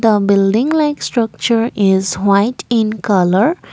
a building like structure is white in colour.